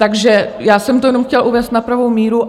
Takže já jsem to jenom chtěla uvést na pravou míru.